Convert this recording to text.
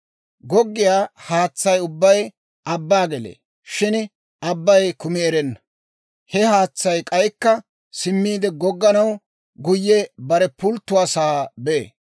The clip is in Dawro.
Goggiyaa haatsay ubbay abban gelee; shin abbay kumi erenna. He haatsay k'aykka simmiide gogganaw, guyye bare pulttiyaa sa'aa bee.